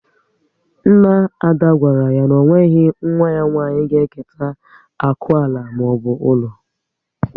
Nna Ada gwara ya na o nweghị nwa ya nwanyị ga eketa akụ ala maọbụ ụlọ